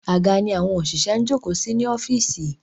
Àga ni àwọn òṣìṣẹ́ ń jókòó sí ní ọ́fíìsì.